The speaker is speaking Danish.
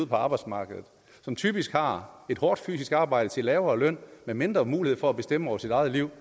på arbejdsmarkedet og som typisk har et hårdt fysisk arbejde til en lavere løn og med mindre mulighed for at bestemme over sit eget liv